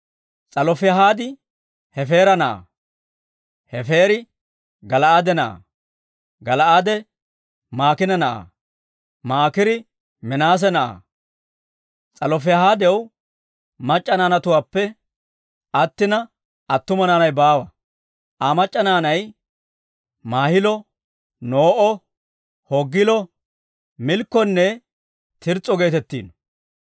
S'alofihaad Hefeera na'aa; Hefeeri Gala'aade na'aa; Gala'aade Maakiina na'aa; Maakiiri Minaase na'aa. S'alofihaadaw mac'c'a naanatuwaappe attina, attuma naanay baawa; Aa mac'c'a naanay Maahilo, No'o, Hoogilo, Milkkonne Tirs's'o geetettino.